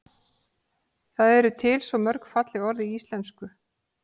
það eru til svo mörg falleg orð í íslenksu